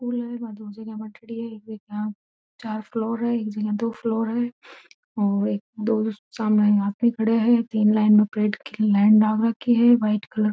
स्कूल है बा दो जगह बांटयोडी है चार फ्लोर है एक जगह दो फ्लोर है और दो सामने आदमी खड़े है तीन लाइन परेड की लाइन डाल रखी है वाइट कलर --